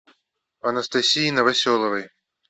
анастасии новоселовой